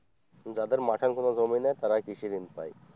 যাদের মাঠে কোন জমি নেই তারাই কৃষি ঋণ পায়।